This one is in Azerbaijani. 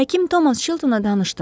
Həkim Tomas Çiltonla danışdım.